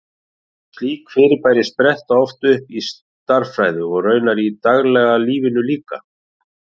Slík fyrirbæri spretta oft upp í stærðfræði, og raunar í daglega lífinu líka.